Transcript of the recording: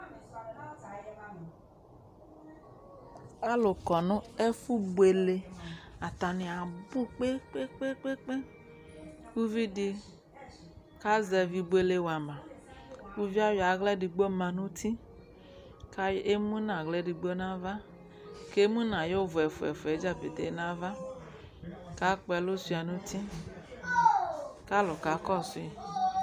Alʋ kɔ nʋ ɛfʋbuele Atanɩ abʋ kpe-kpe-kpe kʋ uvi dɩ kazɛvɩ ibuele wa ma Uvi yɛ ayɔ aɣla efigbo ma nʋ uti kʋ ay emu nʋ aɣla edigbo nʋ ava kʋ emu nʋ ayʋ ʋvʋ yɛ ɛfʋa-ɛfʋa dza petee nʋ ava kʋ akpɔ ɛlʋ sʋɩa nʋ uti kʋ alʋ kakɔsʋ yɩ